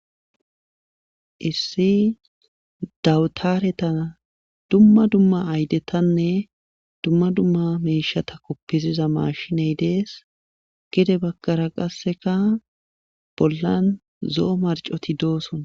Issi dawutaretan dumma dumma aydetanne dumma dumma miishshata kofisiza maashiney dees. gede bagara qassekka bollan zo'o marccoti dosona.